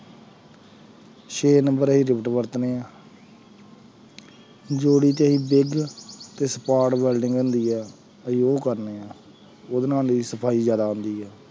ਛੇ ਨੰਬਰ ਵਰਤਦੇ ਹਾਂ ਜੋੜੀ ਤੇ ਅਸੀਂ ਤੇ ਵੈਲਡਿੰਗ ਹੁੰਦੀ ਹੈ ਅਸੀਂ ਉਹ ਕਰਦੇ ਹਾਂ, ਉਹਦੇ ਸਫ਼ਾਈ ਜ਼ਿਆਦਾ ਆਉਂਦੀ ਹੈ।